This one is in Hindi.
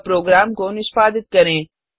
अब प्रोग्राम को निष्पादित करें